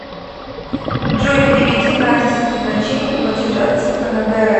джой переведи насте с назначением платежа типа на др